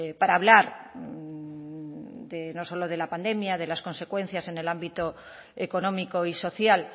para hablar de no solo de la pandemia de las consecuencias en el ámbito económico y social